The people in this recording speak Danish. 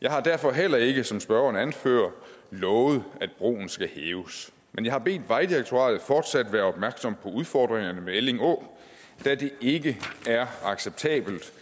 jeg har derfor heller ikke som spørgeren anfører lovet at broen skal hæves men jeg har bedt vejdirektoratet fortsat være opmærksom på udfordringerne ved elling å da det ikke er acceptabelt